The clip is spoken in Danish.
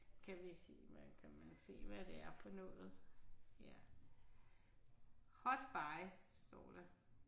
Kan vi kan man se hvad det er for noget ja. Hot buy står der